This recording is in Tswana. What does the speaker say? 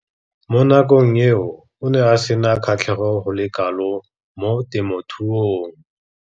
Mo nakong eo o ne a sena kgatlhego go le kalo mo temothuong.